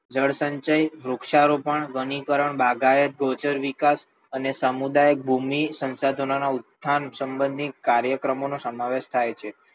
જળસંચય વૃક્ષારોપણ વનીકરણ બાગાયત ગૌચર વિકાસ અને સમુદાય ભૂમિ સંસાધનોના ઉત્થાન સંબંધિત કાર્યક્રમનો સમાવેશ થાય છે.